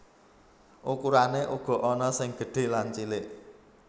Ukurané uga ana sing gedhé lan cilik